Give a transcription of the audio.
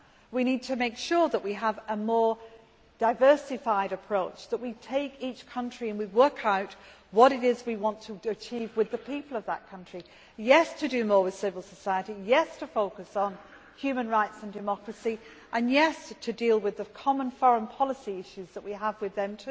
We need to make sure that we have a more diversified approach, that we take each country and we work out what it is we want to achieve with the people of that country yes, to do more with civil society, yes, to focus on human rights and democracy and, yes, to deal with the common foreign policy issues that we have with them.